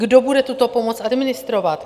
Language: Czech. Kdo bude tuto pomoc administrovat?